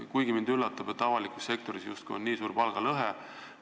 Kuid mind üllatab, et avalikus sektoris on justkui nii suur palgalõhe.